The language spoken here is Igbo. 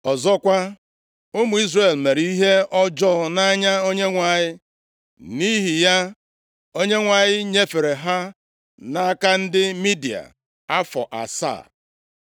Ọzọkwa, ụmụ Izrel mere ihe ọjọọ nʼanya Onyenwe anyị, nʼihi ya, Onyenwe anyị nyefere ha nʼaka ndị Midia + 6:1 Ndị Midia, bụ ndị si nʼotu agbụrụ nʼime ụmụ ndị Ketura mụtara Ebraham. afọ asaa.